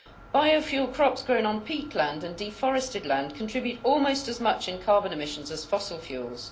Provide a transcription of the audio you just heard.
Biofuel crops grown on peatland and deforested land contribute almost as much in carbon emissions as fossil fuels.